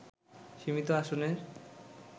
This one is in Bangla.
সীমিত আসনের